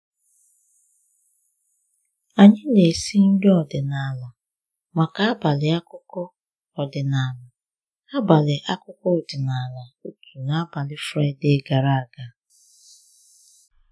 Anyị na-esi nri ọdịnala maka abalị akụkọ ọdịnala abalị akụkọ ọdịnala otu’ n’abalị Fraịde gara aga